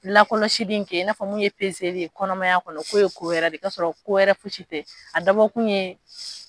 Laɔlɔsili in kɛ i n'a fɔ mun ye ye kɔnɔmaya kɔnɔ k'o ye ko wɛrɛ de i k'a sɔrɔ ko wɛrɛ si tɛ a dabɔkun ye